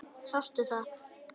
Sástu það?